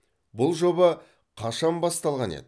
бұл жоба қашан басталған еді